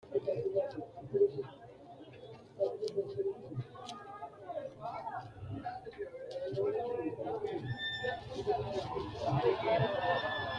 Kuni leellanno kaameeli danisi hiittooho? Alba hiikka hige haranni nooha lawanno? Albiidi waalchisi mayira fananmino? Kaameelu taargi kiiro me'ete? Haranni nooti doogo hiittoote?